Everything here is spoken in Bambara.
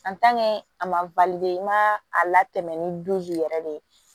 a ma i ma a latɛmɛ ni yɛrɛ de ye